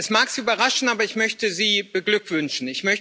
Es mag Sie überraschen, aber ich möchte Sie beglückwünschen.